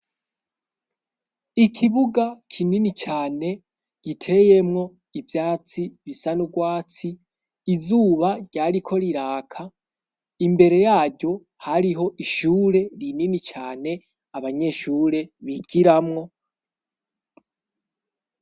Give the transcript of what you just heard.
Ikibuga kinini cane giteyemwo ivyatsi bisa n'urwatsi, izuba ryariko riraka. Imbere yaryo hariho ishure rinini cane abanyeshure bigiramwo.